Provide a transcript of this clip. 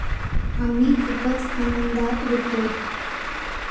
आम्ही खूपच आनंदात होतो.